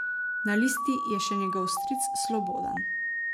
Na listi je še njegov stric Slobodan.